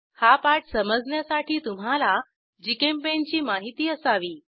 हा पाठ समजण्यासाठी तुम्हाला जीचेम्पेंट ची माहिती असावी